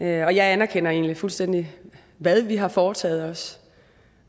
jeg anerkender egentlig fuldstændig hvad vi har foretaget os